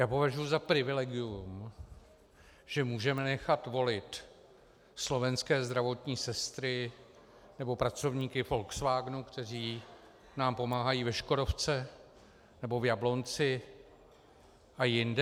Já považuji za privilegium, že můžeme nechat volit slovenské zdravotní sestry nebo pracovníky Volkswagenu, kteří nám pomáhají ve Škodovce nebo v Jablonci a jinde.